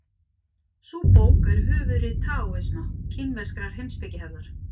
Sú bók er höfuðrit taóisma, kínverskrar heimspekihefðar.